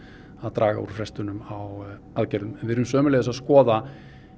draga úr frestunum á aðgerðum við erum sömuleiðis að skoða